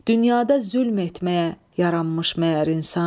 Dünyada zülm etməyə yaranmış məyər insan?